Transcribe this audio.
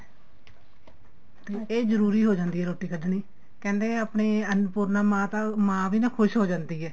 ਤੇ ਜਰੂਰੀ ਹੋ ਜਾਂਦੀ ਏ ਰੋਟੀ ਕੱਡਣੀ ਕਹਿੰਦੇ ਆਪਣੀ ਅੰਨਪੂਰਣਾ ਮਾਤਾ ਮਾਂ ਵੀ ਨਾ ਖੁਸ਼ ਹੋ ਜਾਂਦੀ ਏ